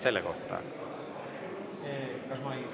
Selle kohta?